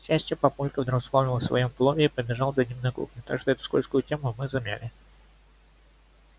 к счастью папулька вдруг вспомнил о своём плове и побежал за ним на кухню так что эту скользкую тему мы замяли